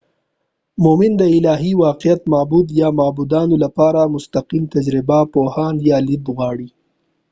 مومن د الهی واقعیت/معبود یا معبودانو لپاره مستقیم تجربه، پوهاوی یا لید غواړي